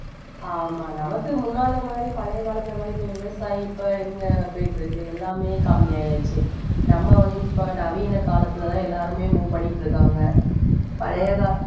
ஆமா நமக்கு முன்னால மாதிரி பழைய காலத்துல மாதிரி இப்ப விவசாயம் இப்ப எங்க போயிட்டிருக்கு. எல்லாமே கம்மி ஆயாச்சு நம்ம வந்து இப்ப நவீன காலத்துலதான் எல்லாருமே move பண்ணிட்டிருக்காங்க பழைய கா~